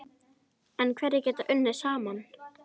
En hverjir geta unnið saman?